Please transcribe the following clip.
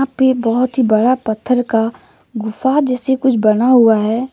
बहुत ही बड़ा पत्थर का गुफा जैसी कुछ बना हुआ है।